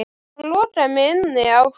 Hann lokaði mig inni á klósetti